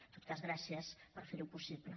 en tot cas gràcies per ferho possible